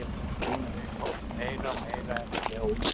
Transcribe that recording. Ég er búinn að vera í hópnum meira og meira eftir að Óli tók við.